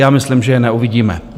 Já myslím, že je neuvidíme.